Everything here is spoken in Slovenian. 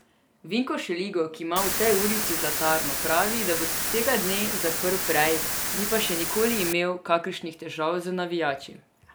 Vinko Šeligo, ki ima v tej ulici zlatarno, pravi, da bo tega dne zaprl prej, ni pa še nikoli imel kakšnih težav z navijači.